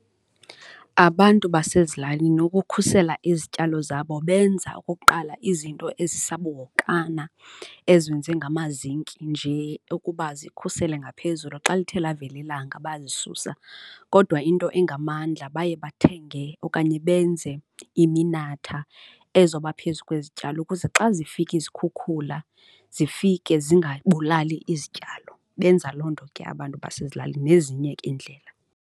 Abantu basezilalini ukukhusela izityalo zabo benza okokuqala izinto ezisabuhonkana, ezenziwe ngamazinki nje ukuba zikhusele ngaphezulu xa lithe lavela ilanga bayazisusa kodwa into engamandla baye bathenge okanye benze iminatha ezoba phezu kwezityalo ukuze xa zifika izikhukhula, zifike zingabulali izityalo. Benza loo nto ke abantu basezilalini nezinye ke iindlela.